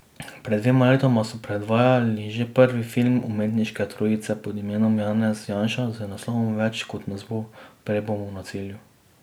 Pred dvema letoma smo predvajali že prvi film te umetniške trojice pod imenom Janez Janša z naslovom Več kot nas bo, prej bomo na cilju.